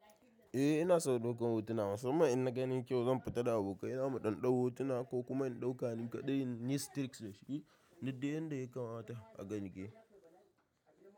Eh ina son ɗaukan hotuna, musamman inna ga nai kyau zan fita da abokai zamu ɗau-ɗau hotuna ko kuma in ɗauka ni kaɗai inyi striks, duk dai yadda yakamata haka nake.